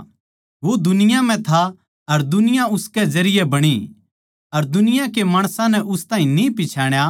वो दुनिया म्ह था अर दुनिया उसकै जरिये बणी अर दुनिया के माणसां नै उस ताहीं न्ही पिच्छाण्या